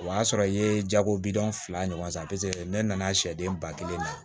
O y'a sɔrɔ i ye jago bidon fila ɲɔgɔn na ne nana sɛ den ba kelen na